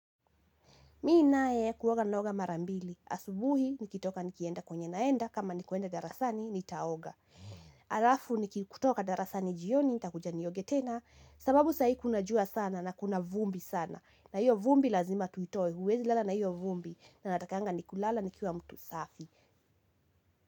Mimi naye kuoga naoga mara mbili. Asubuhi nikitoka nikienda kwenye naenda, kama nikuenda darasani nitaoga. Halafu nikitoka darasani jioni nitakuja nioge tena sababu saa hii kuna jua sana na kuna vumbi sana. Na hiyo vumbi lazima tuitoe huwezi lala na hiyo vumbi na natakanga nikilala nikiwa mtu safi.